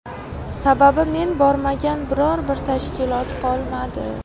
Sababi men bormagan biror bir tashkilot qolmadi.